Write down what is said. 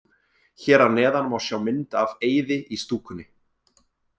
Hér að neðan má sjá mynd af Eiði í stúkunni.